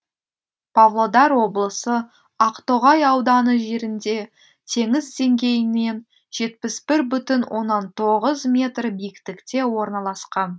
павлодар облысы ақтоғай ауданы жерінде теңіз деңгейінен жетпіс бір бүтін оннан тоғыз метр биіктікте орналасқан